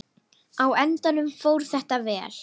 Á endanum fór þetta vel.